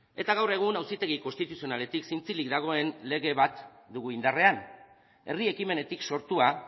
eta gaur egun auzitegi konstituzionaletik zintzilik dagoen lege bat dugu indarrean herri ekimenetik sortua